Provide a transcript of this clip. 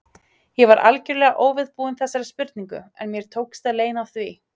Ég var algjörlega óviðbúin þessari spurningu, en mér tókst að leyna því.